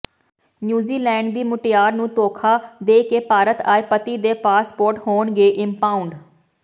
New Zealand ਦੀ ਮੁਟਿਆਰ ਨੂੰ ਧੋਖਾ ਦੇ ਕੇ ਭਾਰਤ ਆਏ ਪਤੀ ਦੇ ਪਾਸਪੋਰਟ ਹੋਣਗੇ ਇੰਪਾਊਂਡ